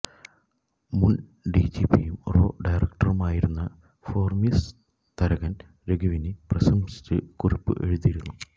മുൻ ഡിജിപിയും റോ ഡയറക്ടറുമായിരുന്ന ഹോർമിസ് തരകൻ രഘുവിനെ പ്രശംസിച്ച് കുറിപ്പ് എഴുതിയിരുന്നു